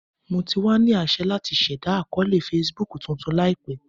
Mo ti wa ni aṣẹ lati ṣẹda akọọlẹ Facebook tuntun laipe.